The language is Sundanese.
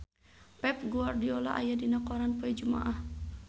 Pep Guardiola aya dina koran poe Jumaah